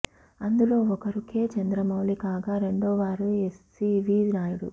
అందులో ఒకరు కె చంద్ర మౌళి కాగా రెండోవారు ఎస్సీవీ నాయుడు